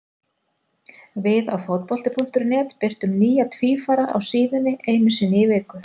Við á Fótbolti.net birtum nýja tvífara á síðunni einu sinni í viku.